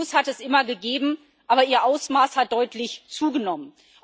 hat es immer gegeben, aber ihr Ausmaß hat deutlich zugenommen.